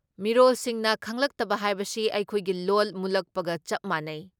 ꯃꯤꯔꯣꯜꯁꯤꯡꯅ ꯈꯪꯂꯛꯇꯕ ꯍꯥꯏꯕꯁꯤ ꯑꯩꯈꯣꯏꯒꯤ ꯂꯣꯜ ꯃꯨꯠꯂꯛꯄꯒ ꯆꯞ ꯃꯥꯟꯅꯩ ꯫